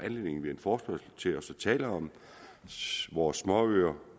anledning ved en forespørgsel til at tale om vores småøer